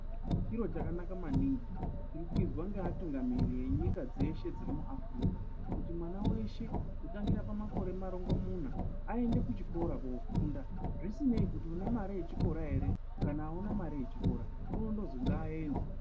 Chiro chakanaka maningi chiri kuizwa ngeatungamiri enyika dzeshe dziri muAfrika, kuti mwana weshe kutangira pamakore marongomuna aende kuchikora kofunda, zvisinei kune une mare yechikora ere kana hauna mare yechikora, unondozwi ngaaende.